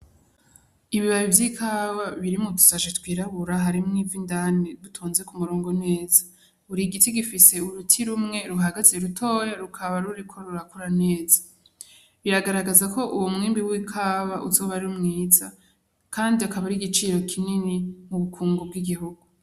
Ibibabi vy'ikawa biri mu dushashi twirabura harimwo ivyindani bitonze ku murongo neza buri giti gifise uruti rumwe ruhagaze rutoya rukaba ruriko rurakura neza biragaragaza ko uwo mwimbu w'ikawa uzoba ari mwiza kandi akaba ari igiciro kinini mu bukungu bw'igihugu.